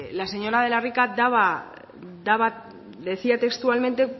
la señora de la rica decía textualmente